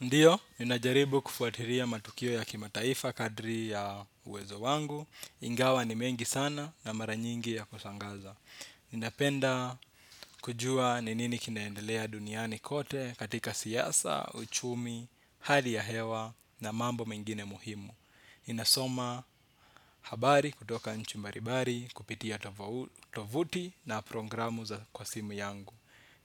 Ndiyo, ninajaribu kufuatilia matukio ya kimataifa kadri ya uwezo wangu. Ingawa ni mengi sana na mara nyingi ya kushangaza. Ninapenda kujua ni nini kinaendelea duniani kote katika siasa, uchumi, hali ya hewa na mambo mengine muhimu. Ninasoma habari kutoka nchi mbarimbari kupitia tovuti na programu za kwa simu yangu.